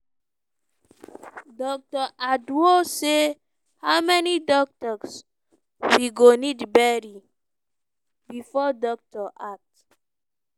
dr adow say "how many doctors we go need bury bifor doctor act."